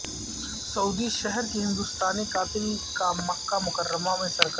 سعودی شہری کے ہندوستانی قاتل کا مکہ مکرمہ میں سرقلم